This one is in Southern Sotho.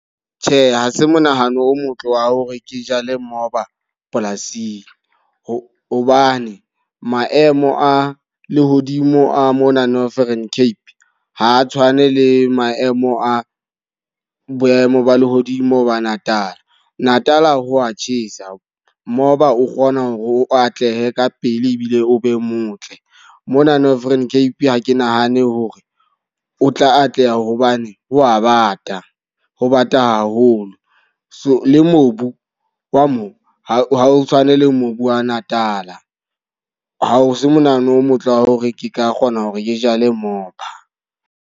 Tjhe, ha se monahano o motle wa hore ke jale moba polasing. Ho hobane maemo a lehodimo a mona Northern Cape ha a tshwane le maemo a boemo ba lehodimo ba Natal. Natal ho wa tjhesa, moba o kgona hore o atlehe ka pele ebile o be motle. Mona Northern Cape ha ke nahane hore o tla atleha hobane ho a bata. Ho bata haholo, so le mobu wa mo ha o tshwane le mobu wa Natal. Ha o se monahano o motle wa hore ke ka kgona hore ke jale moba.